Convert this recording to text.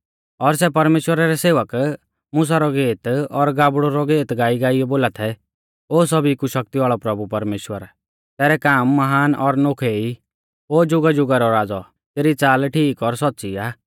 और सै परमेश्‍वरा रै सेवक मुसा रौ गेत और गाबड़ु रौ गेत गाईगाइयौ बोला थै ओ सौभी कु शक्ति वाल़ौ प्रभु परमेश्‍वर तैरै काम महान और नोखै ई ओ ज़ुगाज़ुगा रौ राज़ौ तेरी च़ाल ठीक और सौच़्च़ी आ